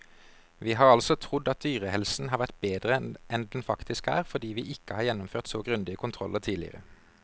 Vi har altså trodd at dyrehelsen har vært bedre enn den faktisk er, fordi vi ikke har gjennomført så grundige kontroller tidligere.